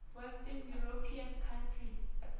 western european countries